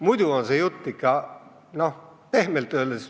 Muidu on see jutt ikka, pehmelt öeldes ...